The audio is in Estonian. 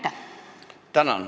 Tänan!